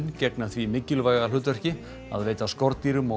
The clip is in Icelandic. gegna því mikilvæga hlutverki að veita skordýrum og